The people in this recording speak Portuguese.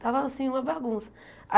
Tava assim, uma bagunça.